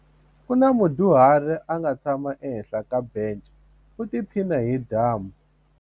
Ku na mudyuhari a nga tshama ehenhla ka bence u tiphina hi dyambu.